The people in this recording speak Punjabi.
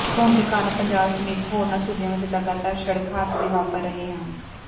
ਧੁੰਧ ਕਾਰਨ ਪੰਜਾਬ ਸਮੇਤ ਹੋਰਨਾਂ ਸੂਬਿਆਂ ਵਿੱਚ ਲਗਾਤਾਰ ਸੜਕ ਹਾਦਸੇ ਵਾਪਰ ਰਹੇ ਹਨ